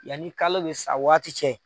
Yanni kalo bɛ sa waati cɛ.